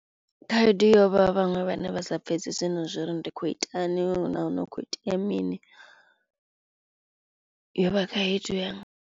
Khaedu yo vha vhaṅwe vhane vha sa pfhesesi na zwori ndi khou itani nahone hu kho itea mini yo vha khaedu ya.